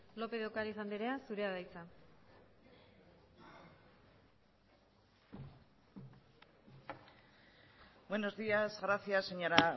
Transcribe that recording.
lópez de ocariz andrea zurea da hitza buenos días gracias señora